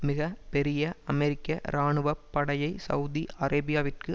மிக பெரிய அமெரிக்க இராணுவ படையை செளதி அரேபியாவிற்கு